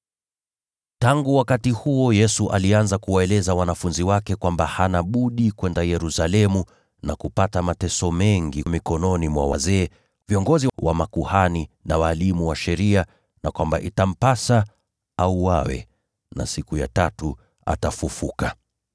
Tangu wakati huo, Yesu alianza kuwaeleza wanafunzi wake kwamba hana budi kwenda Yerusalemu na kupata mateso mengi mikononi mwa wazee, viongozi wa makuhani, na walimu wa sheria, na kwamba itampasa auawe lakini siku ya tatu kufufuliwa.